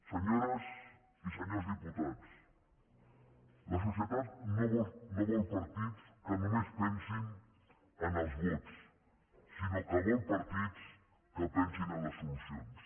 senyores i senyors diputats la societat no vol partits que només pensin en els vots sinó que vol partits que pensin en les solucions